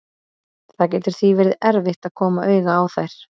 Það getur því verið erfitt að koma auga á þær.